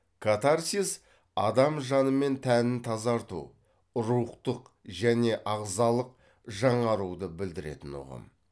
катарсис адам жаны мен тәнін тазарту рухтық және ағзалық жаңаруды білдіретін ұғым